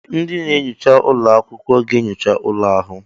Ee! Ndị na-enyocha ụlọ akwụkwọ ga-enyocha ụlọ ahụ.